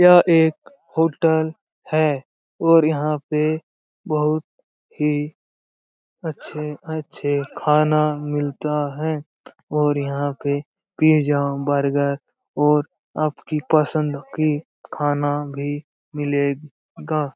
यह एक होटल है और यहाँ पे बहुत ही अच्छे-अच्छे खाना मिलता है और यहाँ पे पिज़्ज़ा बर्गर और आपकी पसंद की खाना भी मिलेगा।